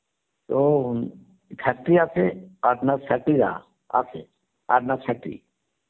তো factory আছে আছে